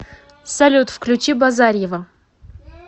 салют включи базарьева